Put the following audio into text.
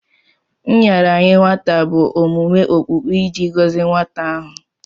Nraranye nwata bụ omume okpukpe iji gọzie nwata ahụ.